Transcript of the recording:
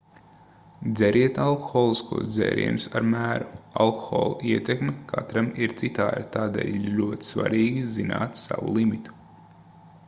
dzeriet alkoholiskos dzērienus ar mēru alkohola ietekme katram ir citāda tādēļ ir ļoti svarīgi zināt savu limitu